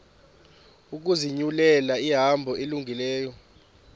ukuzinyulela ihambo elungileyo